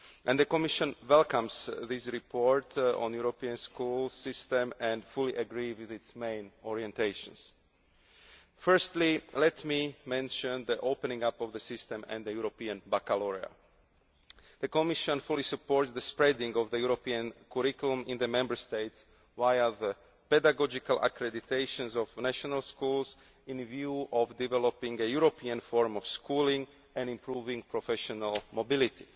The Commission welcomes this report on the European School system and is in full agreement with its main orientations. Firstly, let me mention the opening up of the system and the European Baccalaureate. The Commission fully supports the extension of the European curriculum in the Member States via the pedagogical accreditation of national schools with a view to developing a European Forum for Schooling and improving professional mobility.